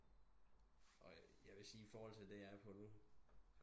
Og jeg vil sige iforhold til det jeg er på nu